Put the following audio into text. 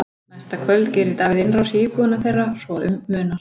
Næsta kvöld gerir Davíð innrás í íbúðina þeirra svo að um munar.